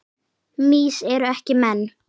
Mýs eru ekki menn